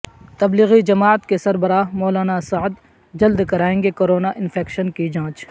تبلیغی جماعت کے سربراہ مولانا سعد جلد کرائیں گے کورونا انفیکشن کی جانچ